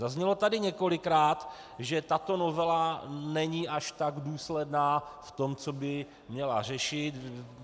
Zaznělo tady několikrát, že tato novela není až tak důsledná v tom, co by měla řešit.